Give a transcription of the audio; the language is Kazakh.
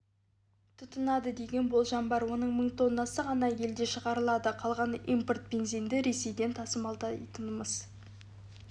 тұтынады деген болжам бар оның мың тоннасы ғана елде шығарылады қалғаны импорт бензинді ресейден тасымалдайтынымыз